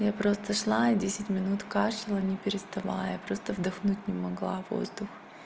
я просто шла и десять минут кашляла не переставая просто вдохнуть не могла воздух